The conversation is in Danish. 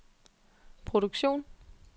produktion